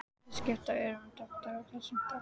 Þeir skiptu ört um doktora á þessum stað.